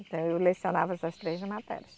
Então, eu lecionava essas três matérias.